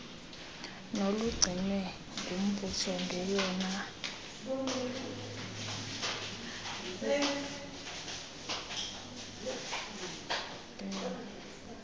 nolugcinwe ngumbuso ngeyona